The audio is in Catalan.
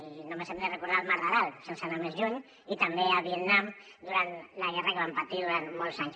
i només hem de recordar el mar d’aral sense anar més lluny i també a vietnam durant la guerra que van patir durant molts anys